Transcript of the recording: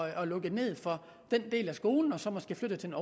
at lukke ned for den del af skolen og så måske flytte den